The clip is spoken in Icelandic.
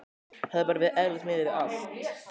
Hafi bara verið eðlileg miðað við allt.